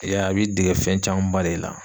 I y'a ye, a bi dege fɛn caman ba de la.